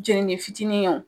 Jenini fitinin wo